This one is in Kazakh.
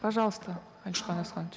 пожалуйста алихан асканович